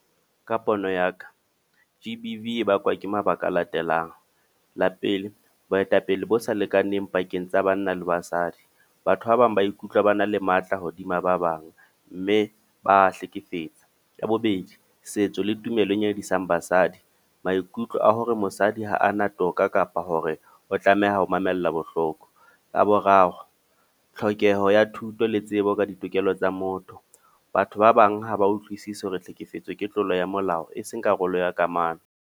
Ka pono ya ka. G_B_V e bakwa ke mabaka a latelang. La pele, boetapele bo sa lekaneng pakeng tsa banna le basadi. Batho ba bang ba ikutlwa ba na le matla hodima ba bang, mme ba hlekefetsa. Ya bobedi, setso le tumelo e nyadisang basadi. Maikutlo a hore mosadi ha ana toka kapa hore o tlameha ho mamella bohloko. Ya boraro, tlhokeho ya thuto le tsebo ka ditokelo tsa motho. Batho ba bang ha ba utlwisisi hore hlekefetso ke tlolo ya molao, e seng karolo ya kamano.